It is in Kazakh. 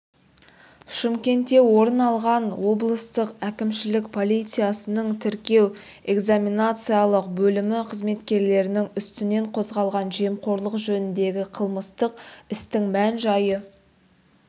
шымкентте орын алған облыстық әкімшілік полициясының тіркеу-экзаменациялық бөлімі қызметкерлерінің үстінен қозғалған жемқорлық жөніндегі қылмыстық істің мән-жайы